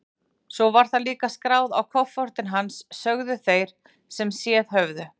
Svo var það líka skráð á kofortin hans, sögðu þeir sem séð höfðu.